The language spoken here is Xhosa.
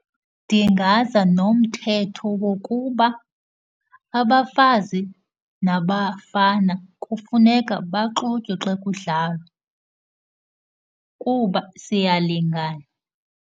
Ndingaza nomthetho wokuba abafazi nabafana kufuneka baxutywe xa kudlalwa kuba siyalingana.